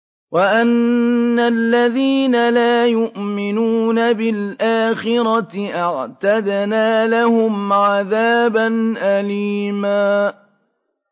وَأَنَّ الَّذِينَ لَا يُؤْمِنُونَ بِالْآخِرَةِ أَعْتَدْنَا لَهُمْ عَذَابًا أَلِيمًا